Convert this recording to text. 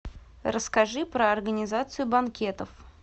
расскажи про организацию банкетов